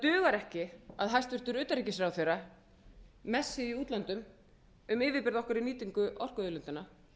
dugar ekki að hæstvirtur utanríkisráðherra messi í útlöndum um yfirburði okkar í nýtingu orkuauðlindanna